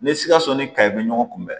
Ni sikaso ni kayi bɛ ɲɔgɔn kunbɛn